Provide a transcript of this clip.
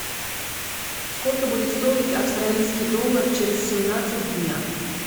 сколько будет стоить австралийский доллар через семнадцать дня